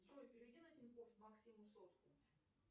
джой переведи на тинькофф максиму сотку